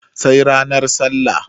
sai nranar sallah